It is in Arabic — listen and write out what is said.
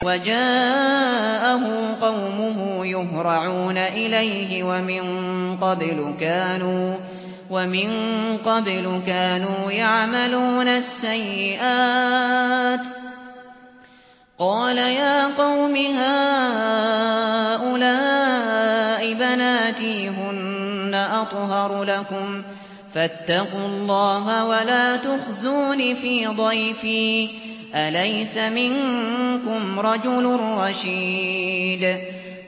وَجَاءَهُ قَوْمُهُ يُهْرَعُونَ إِلَيْهِ وَمِن قَبْلُ كَانُوا يَعْمَلُونَ السَّيِّئَاتِ ۚ قَالَ يَا قَوْمِ هَٰؤُلَاءِ بَنَاتِي هُنَّ أَطْهَرُ لَكُمْ ۖ فَاتَّقُوا اللَّهَ وَلَا تُخْزُونِ فِي ضَيْفِي ۖ أَلَيْسَ مِنكُمْ رَجُلٌ رَّشِيدٌ